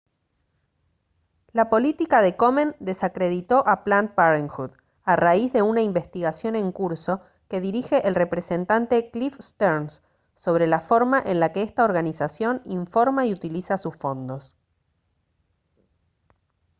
la política de komen desacreditó a planned parenthood a raíz de una investigación en curso que dirige el representante cliff stearns sobre la forma en la que esta organización informa y utiliza sus fondos